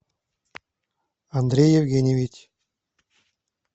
андрей евгеньевич